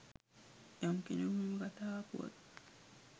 යම් කෙනකු මෙම කතා පුවත්